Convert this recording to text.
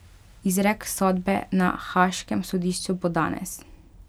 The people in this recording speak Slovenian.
Izrek sodbe na haaškem sodišču bo danes.